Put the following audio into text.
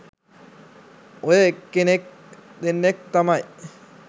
ඔය එක්කෙනෙක් දෙන්නෙක් තමයි